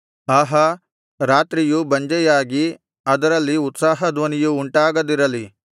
ಆಹಾ ರಾತ್ರಿಯು ಬಂಜೆಯಾಗಿ ಅದರಲ್ಲಿ ಉತ್ಸಾಹಧ್ವನಿಯು ಉಂಟಾಗದಿರಲಿ